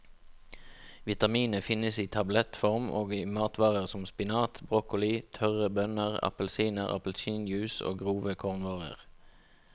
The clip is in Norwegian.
Vitaminet finnes i tablettform og i matvarer som spinat, broccoli, tørre bønner, appelsiner, appelsinjuice og grove kornvarer.